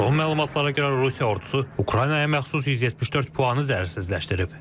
Son məlumatlara görə Rusiya ordusu Ukraynaya məxsus 174 planı zərərsizləşdirib.